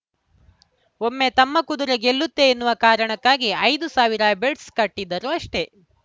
ಒಮ್ಮೆ ತಮ್ಮ ಕುದುರೆ ಗೆಲ್ಲುತ್ತೆ ಎನ್ನುವ ಕಾರಣಕ್ಕಾಗಿ ಐದು ಸಾವಿರ ಬೇಡ್ಸ್ ಕಟ್ಟಿದರು ಅಷ್ಟೇ